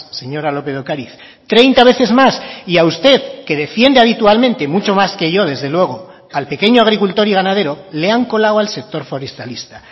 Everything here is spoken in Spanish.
señora lópez de ocariz treinta veces más y a usted que defiende habitualmente mucho más que yo desde luego al pequeño agricultor y ganadero le han colado al sector forestalista